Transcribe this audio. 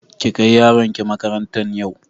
Ki kai yaronki makarantan yau!